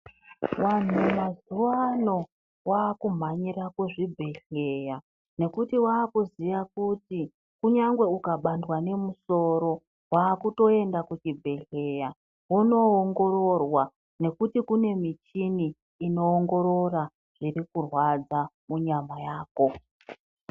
Vanhu mazuwa ano baakumhanyira kuzvibhedhlera nekuti waakuziya kuti kunyangwe ukabandwa nemusoro waakutoenda kuchibhedhlera vonoongororwa, nekuti kune michini inoongorora zvirikurwadza munyama yako.